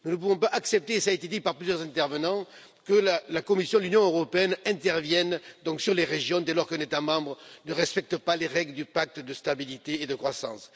Nous ne pouvons pas accepter et cela a été dit par plusieurs intervenants que la Commission de l'Union Européenne intervienne au niveau des régions dès lors qu'un État membre ne respecte pas les règles du pacte de stabilité et de croissance.